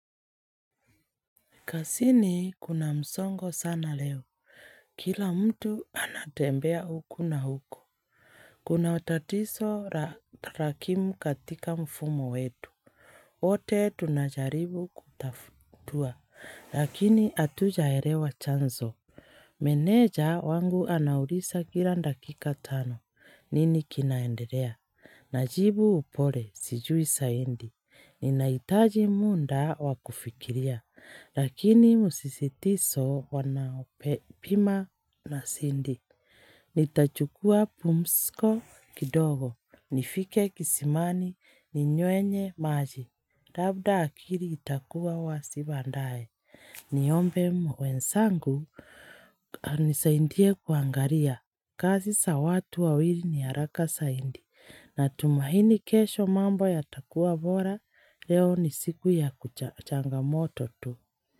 Kazini kuna msongo sana leo. Kila mtu anatembea huku na huku Kuna wa tatizo rakimu katika mfumo wetu. Wote tunajaribu kutatua. Lakini hatujaelewa chanzo. Meneja wangu anauliza kila dakika tano. Nini kinaendelea? Najibu pole sijui zaidi. Ninahitaji muda wa kufikiria. Lakini msisitizo wanaopima na sindi. Nitachukua pumziko kidogo. Nifike kisimani ni nywenye maji. Labda akili itakuwa wazi baadaye. Niombe wenzangu wanisaidie kuangalia. Kazi za watu wawili ni haraka zaidi. Natumaini kesho mambo yatakuwa bora, leo ni siku ya kucha changamoto tu.